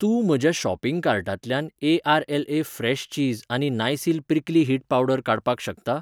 तूं म्हज्या शॉपिंग कार्टांतल्यान ए. आर.एल.ए फ्रॅश चीज आनी नायसील प्रिक्ली हीट पावडर काडपाक शकता?